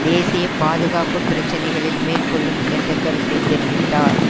தேசிய பாதுகாப்பு பிரச்சினைகளில் மேற்கொள்ளும் என்ற கருத்தை தெரிவித்தார்